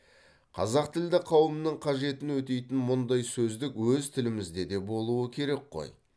қазақтілді қауымның қажетін өтейтін мұндай сөздік өз тілімізде де болуы керек қой